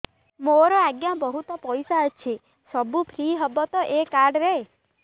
ମୋର ଆଜ୍ଞା ବହୁତ ପଇସା ଅଛି ସବୁ ଫ୍ରି ହବ ତ ଏ କାର୍ଡ ରେ